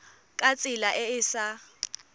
ka tsela e e sa